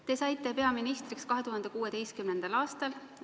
Te saite peaministriks 2016. aastal.